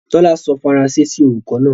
Tóla sọ Faranse sí olùkọ̀ náà.